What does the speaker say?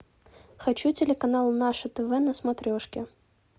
хочу телеканал наше тв на смотрешке